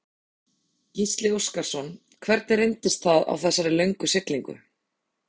Gísli Óskarsson: Hvernig reyndist það á þessari löngu siglingu?